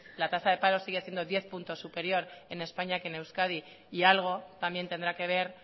la tasa de paro sigue siendo diez puntos superior en españa que en euskadi y algo también tendrá que ver